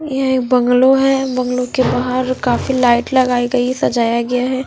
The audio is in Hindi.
यह एक बंगलो है बंगलो के बाहर काफी लाइट लगाई गई है सजाया गया है।